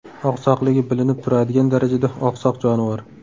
Oqsoqligi bilinib turadigan darajada oqsoq jonivor.